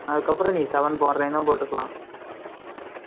அதுக்கு அப்புறம், நீ, seven போடுறேன்னா, போட்டுக்கலாம்